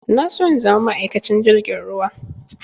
Na so in zama ma'aikacin jirgin ruwa